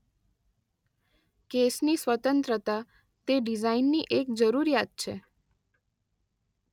કેસની સ્વતંત્રતા- તે ડિઝાઇનની એક જરૂરિયાત છે.